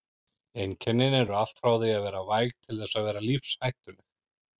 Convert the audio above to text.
Einkennin eru allt frá því að vera væg til þess að vera lífshættuleg.